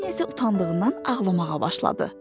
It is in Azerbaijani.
Vanya isə utandığından ağlamağa başladı.